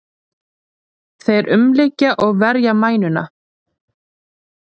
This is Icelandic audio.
Þeir umlykja og verja mænuna.